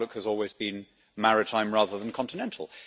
our outlook has always been maritime rather than continental.